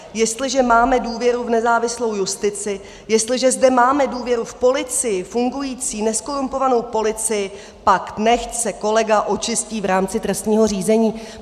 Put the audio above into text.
Jestliže máme důvěru v nezávislou justici, jestliže zde máme důvěru v policii, fungující nezkorumpovanou policii, pak nechť se kolega očistí v rámci trestního řízení."